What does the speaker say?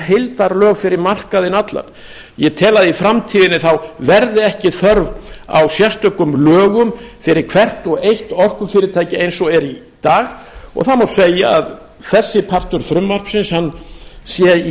heildarlög fyrir markaðinn allan ég tel að í framtíðinni verði ekki þörf á sérstökum lögum fyrir hvert og eitt orkufyrirtæki eins og er í dag og það má segja að þessi partur frumvarpsins sé í